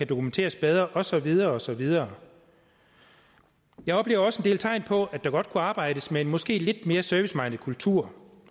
dokumenteres bedre og så videre og så videre jeg oplever også en del tegn på at der godt kunne arbejdes med en måske lidt mere serviceminded kultur